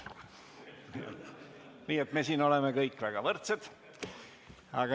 Nii et me oleme siin kõik võrdsed.